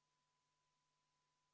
Poolt oli 2, vastu 58 ja erapooletuid 1.